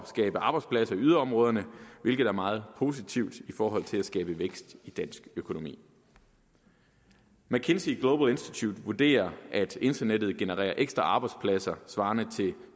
skabe arbejdspladser i yderområderne hvilket er meget positivt i forhold til at skabe vækst i dansk økonomi mckinsey global institute vurderer at internettet genererer ekstra arbejdspladser svarende til